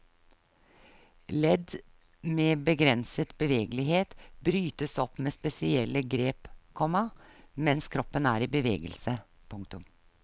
Ledd med begrenset bevegelighet brytes opp med spesielle grep, komma mens kroppen er i bevegelse. punktum